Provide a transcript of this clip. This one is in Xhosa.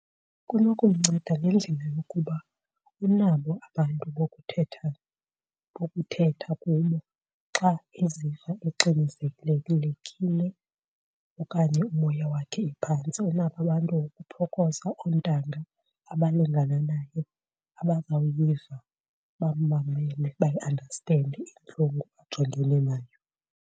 Kunokumnceda ngendlela yokuba unabo abantu bokuthetha, bokuthetha kubo xa eziva exinezelelekile okanye umoya wakhe uphantsi. Unabo abantu bokuphokoza, oontanga abalingana naye abazawuyiva, bammamele bayiandastende intlungu ajongene nayo.